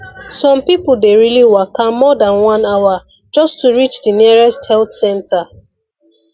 some people dey really waka more than one hour just to reach di nearest health center